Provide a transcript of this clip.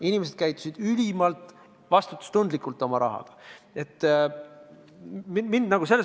Inimesed käitusid oma raha kasutades ülimalt vastutustundlikult.